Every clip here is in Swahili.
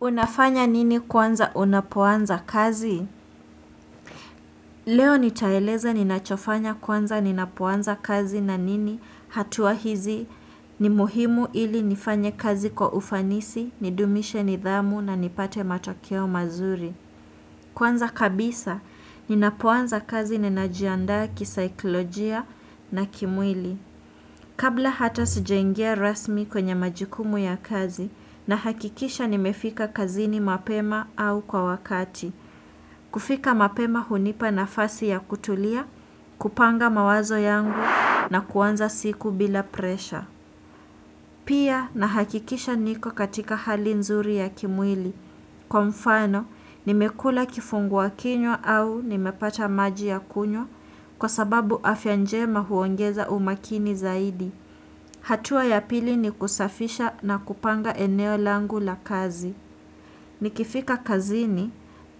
Unafanya nini kwanza unapoanza kazi? Leo nitaeleza ninachofanya kwanza ninapoanza kazi na nini hatua hizi ni muhimu ili nifanye kazi kwa ufanisi, nidumishe nidhamu na nipate matokeo mazuri. Kwanza kabisa, ninapoanza kazi ninajiandaa kisaiklojia na kimwili. Kabla hata sijaingia rasmi kwenye majukumu ya kazi nahakikisha nimefika kazini mapema au kwa wakati, kufika mapema hunipa nafasi ya kutulia, kupanga mawazo yangu na kuanza siku bila presha. Pia nahakikisha niko katika hali nzuri ya kimwili. Kwa mfano, nimekula kifunguakinywa au nimepata maji ya kunywa kwa sababu afya njema huongeza umakini zaidi. Hatua ya pili ni kusafisha na kupanga eneo langu la kazi. Nikifika kazini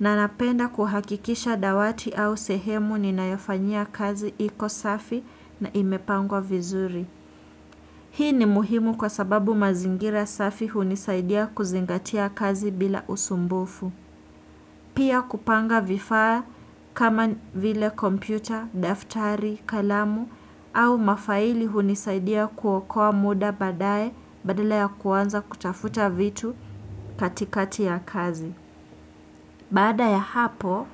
nanapenda kuhakikisha dawati au sehemu ninayofanyia kazi iko safi na imepangwa vizuri. Hii ni muhimu kwa sababu mazingira safi hunisaidia kuzingatia kazi bila usumbufu. Pia kupanga vifaa kama vile kompyuta, daftari, kalamu au mafaili hunisaidia kuokoa muda badaye badala ya kuanza kutafuta vitu katikati ya kazi. Bada ya hapo,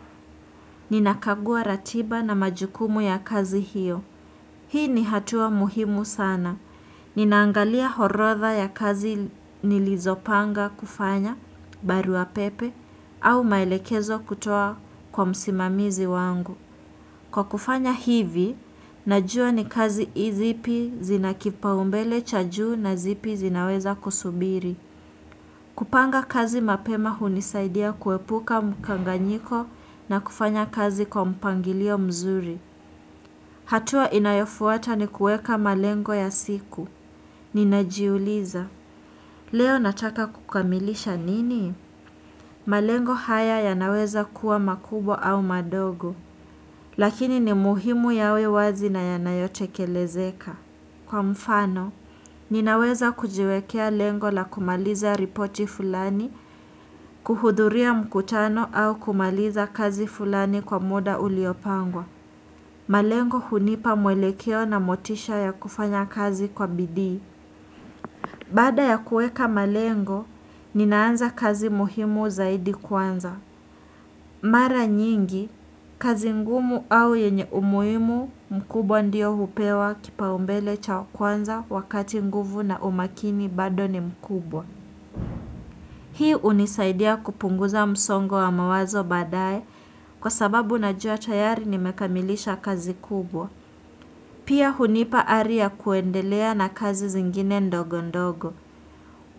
ninakagua ratiba na majukumu ya kazi hiyo. Hii ni hatua muhimu sana. Ninaangalia orotha ya kazi nilizopanga kufanya, barua pepe, au maelekezo kutoa kwa msimamizi wangu. Kwa kufanya hivi, najua ni kazi zipi zinakipaumbele cha juu na zipi zinaweza kusubiri. Kupanga kazi mapema hunisaidia kuepuka mkanganyiko na kufanya kazi kwa mpangilio mzuri. Hatua inayofuata ni kueka malengo ya siku. Ninajiuliza. Leo nataka kukamilisha nini? Malengo haya yanaweza kuwa makubwa au madogo. Lakini ni muhimu yawe wazi na yanayo tekelezeka. Kwa mfano, ninaweza kujiwekea lengo la kumaliza ripoti fulani, kuhudhuria mkutano au kumaliza kazi fulani kwa muda uliopangwa. Malengo hunipa mwelekeo na motisha ya kufanya kazi kwa bidii. Bada ya kuweka malengo, ninaanza kazi muhimu zaidi kwanza. Mara nyingi, kazi ngumu au yenye umuhimu mkubwa ndiyo hupewa kipaumbele cha kwanza wakati nguvu na umakini bado ni mkubwa. Hii unisaidia kupunguza msongo wa mawazo baadae kwa sababu najua tayari nimekamilisha kazi kubwa. Pia hunipa ari ya kuendelea na kazi zingine ndogondogo.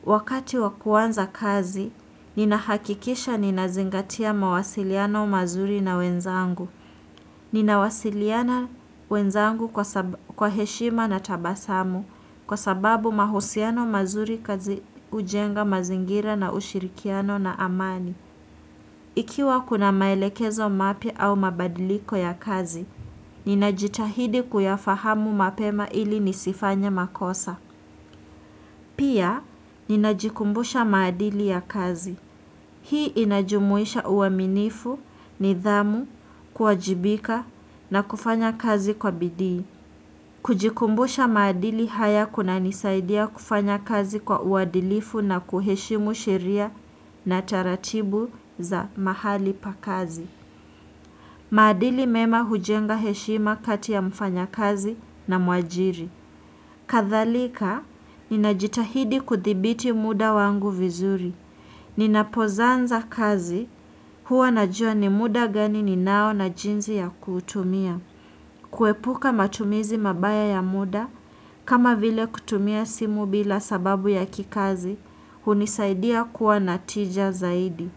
Wakati wakuanza kazi, ninahakikisha ninazingatia mawasiliano mazuri na wenzangu. Ninawasiliana wenzangu kwa heshima na tabasamu kwa sababu mahusiano mazuri kazi hujenga mazingira na ushirikiano na amani. Ikiwa kuna maelekezo mapya au mabadiliko ya kazi, ninajitahidi kuyafahamu mapema ili nisifanye makosa. Pia, ninajikumbusha maadili ya kazi. Hii inajumuisha uaminifu, nidhamu, kuwajibika na kufanya kazi kwa bidii. Kujikumbusha maadili haya kunanisaidia kufanya kazi kwa uadilifu na kuheshimu sheria na taratibu za mahali pa kazi. Maadili mema hujenga heshima kati ya mfanyakazi na mwajiri. Kadhalika, ninajitahidi kuthibiti muda wangu vizuri. Ninapozanza kazi, huwa najua ni muda gani ninao na jinzi ya kuutumia. Kuepuka matumizi mabaya ya muda, kama vile kutumia simu bila sababu ya kikazi, hunisaidia kuwa na tija zaidi.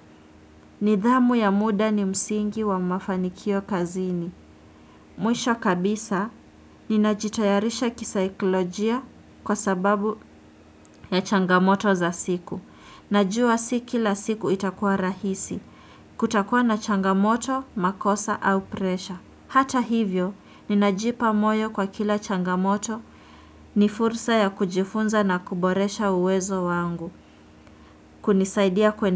Nidhamu ya muda ni msingi wa mafanikio kazini. Mwisho kabisa, ninajitayarisha kisaiklojia kwa sababu ya changamoto za siku. Najua si kila siku itakuwa rahisi. Kutakuwa na changamoto, makosa au presha. Hata hivyo, ninajipa moyo kwa kila changamoto ni fursa ya kujifunza na kuboresha uwezo wangu. Kunisaidia kuendele.